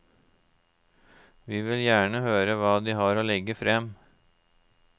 Vi vil gjerne høre hva de har å legge frem.